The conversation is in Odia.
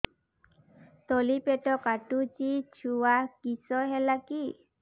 ତଳିପେଟ କାଟୁଚି ଛୁଆ କିଶ ହେଲା କି